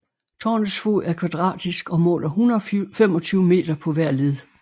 Tårnets fod er kvadratisk og måler 125 meter på hver led